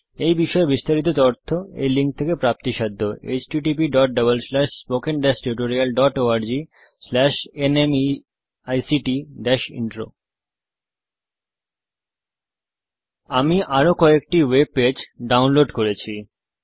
এই বিষয় বিস্তারিত তথ্য এই লিঙ্ক এ প্রাপ্তিসাধ্য httpspoken tutorialorgNMEICT Intro আমি আরো কয়েকটি ওয়েব পেজ ডাউনলোড করেছি